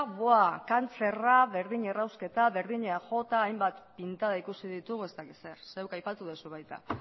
kantzerra berdin errausketa berdin eaj hainbat pintada ikusi ditugu ez dakit zer zeuk aipatu duzu baita